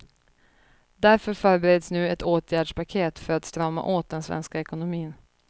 Därför förbereds nu ett åtgärdspaket för att strama åt den svenska ekonomin.